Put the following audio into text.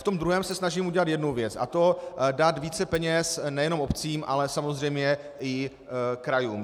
V tom druhém se snažím udělat jednu věc, a to dát více peněz nejenom obcím, ale samozřejmě i krajům.